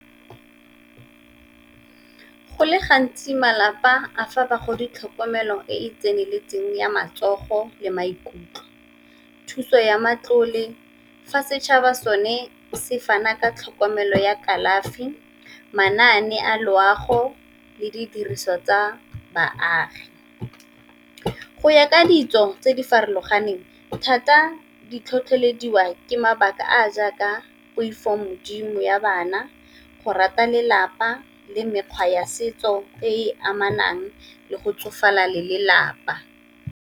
Go le gantsi malapa a fa bagodi tlhokomelo e e tseneletseng ya matsogo le maikutlo, thuso ya matlole fa setšhaba sone se fana ka tlhokomelo ya kalafi, manane a loago le didiriswa tsa baagi. Go ya ka ditso tse di farologaneng thata di tlhotlhelediwa ke mabaka a a jaaka poifogodimo ya bana, go rata lelapa le mekgwa ya setso e e amanang le go tsofala le lelapa.